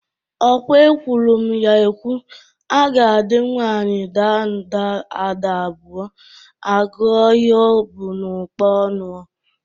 Ọkwa ekwuru m ya ekwu, agadị nwaanyị daa nda ada abụọ, a gụọ ihe o bụ n'ụkpa ọnụ.